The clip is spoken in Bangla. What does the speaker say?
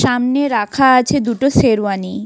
সামনে রাখা আছে দুটো শেরওয়ানি।